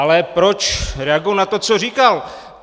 Ale proč reaguji na to, co říkal?